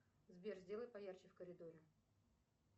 сбер сделай поярче в коридоре